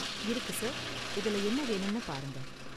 இருக்கு சார், இதுல என்ன வேணும்னு பாருங்க.